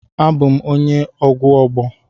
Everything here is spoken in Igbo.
Abum onye ugwu Ogbo.